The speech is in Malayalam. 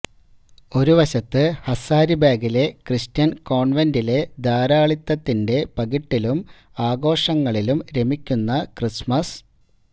ഒരു വശത്ത് ഹസാരിബാഗിലെ ക്രിസ്ത്യന് കോണ്വെന്റിലെ ധാരാളിത്തത്തിന്െറ പകിട്ടിലും ആഘോഷങ്ങളിലും രമിക്കുന്ന ക്രിസ്മസ്